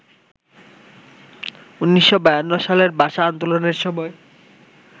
১৯৫২ সালের ভাষা আন্দোলনের সময়